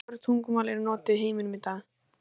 Hversu mörg tungumál eru notuð í heiminum í dag?